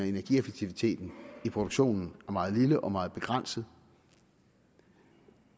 energieffektiviteten i produktionen er meget lille og meget begrænset